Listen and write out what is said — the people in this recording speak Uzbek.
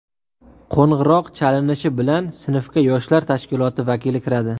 Qo‘ng‘iroq chalinishi bilan sinfga yoshlar tashkiloti vakili kiradi.